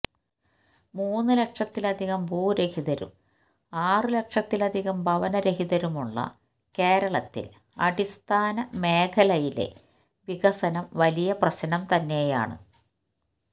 മൂന്ന് ലക്ഷത്തിലധികം ഭൂരഹിതരും ആറു ലക്ഷത്തിലധികം ഭവന രഹിതരുമുള്ള കേരളത്തില് അടിസ്ഥാന മേഖലയിലെ വികസനം വലിയ പ്രശ്നം തന്നെയാണ്